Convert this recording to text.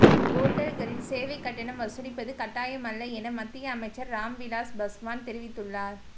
ஓட்டல்களில் சேவை கட்டணம் வசூலிப்பது கட்டாயமல்ல என மத்திய அமைச்சர் ராம்விலாஸ் பஸ்வான் தெரிவித்துள்ளார்